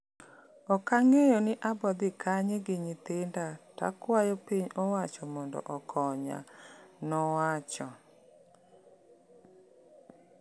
"Okang'eyo ni abodhi kanye gi nyithinda takwayo piny owacho mondo okonya." Nowacho.